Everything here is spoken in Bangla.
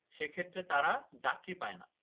সেক্ষেত্রে তারা যাত্রী পায়না